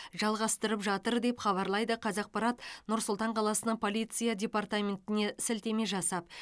жалғастырып жатыр деп хабарлайды қазақпарат нұр сұлтан қаласының полиция департаментіне сілтеме жасап